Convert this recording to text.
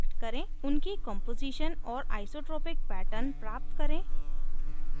2 उनकी कॉम्पोजीशन और isotropic pattern प्राप्त करें